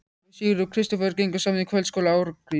Pabbi og Sigurður Kristófer gengu saman í kvöldskóla Ásgríms